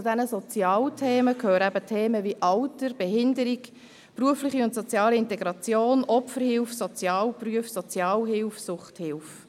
Zu diesen Sozialthemen gehören eben Themen wie Alter, Behinderung, berufliche und soziale Integration, Opferhilfe, Sozialberufe, Sozialhilfe, Suchthilfe.